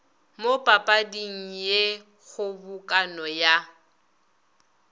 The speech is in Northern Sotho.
mo papading ye kgobokano ya